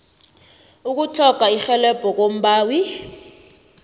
ukutlhoga irhelebho kombawi